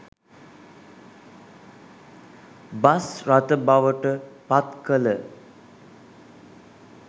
bus රථ බවට පත්කළ